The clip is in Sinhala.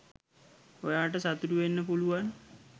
ඔයාට සතුටු වෙන්න පුළුවන්